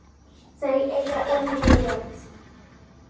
Þau eiga Emilíu Lind.